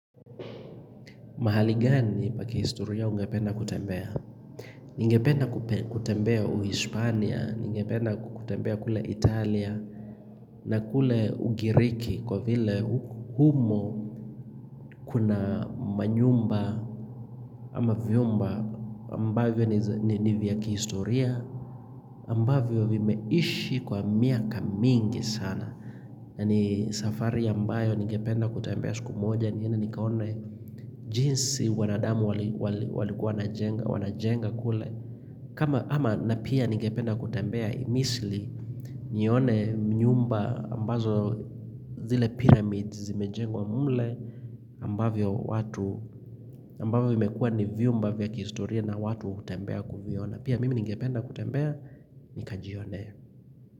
Mahali gani pa kihistoria umependa kutembea? Ningependa kutembea Uhispania, ningependa kutembea kule Italia, na kule Ugiriki kwa vile humo kuna manyumba ama vyumba ambavyo ni vya kihistoria, ambavyo vimeishi kwa miaka mingi sana. Na ni safari ambayo niingenda kutembea siku moja niende nikaone jinsi wanadamu walikuwa wanajenga kule, kama ama na pia ningependa kutembea Misli nione mnyumba ambazo zile pyramids zimejengwa mle ambavyo watu, ambavyo imekua ni vyumba vya kihistoria na watu hutembea kuviona, pia mimi ningependa kutembea nikajionee.